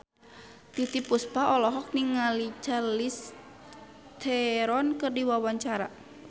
Titiek Puspa olohok ningali Charlize Theron keur diwawancara